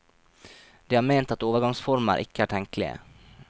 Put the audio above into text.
De har ment at overgangsformer ikke er tenkelige.